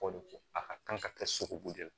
a ka kan ka kɛ sogobu de la